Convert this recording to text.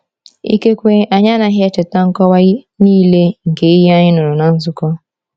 Ikekwe anyị anaghị echeta nkọwa niile nke ihe anyị nụrụ na nzukọ.